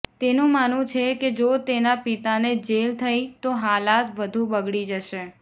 તેનું માનવું છે કે જો તેના પિતાને જેલ થઈ તો હાલાત વધુ બગડી જશે